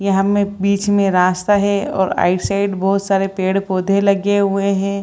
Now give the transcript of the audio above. यहां मे बीच मे रास्ता है और आगे साइड बहुत सारे पेड़ पौधे लगे हुए है।